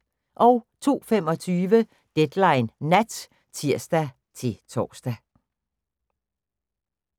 02:25: Deadline Nat (tir-tor)